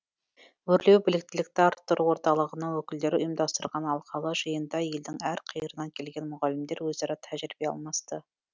өрлеу біліктілікті арттыру орталығының өкілдері ұйымдастырған алқалы жиында елдің әр қиырынан келген мұғалімдер өзара тәжірибе алмасты